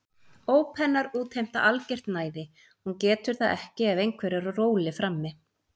Óp hennar útheimta algert næði, hún getur það ekki ef einhver er á róli frammi.